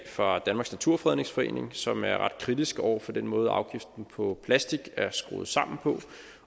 fra danmarks naturfredningsforening som er ret kritisk over for den måde afgiften på plastik er skruet sammen på